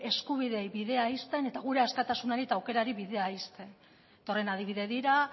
eskubide bidean ixten eta gure askatasunari eta aukerari bidea ixten eta horren adibide dira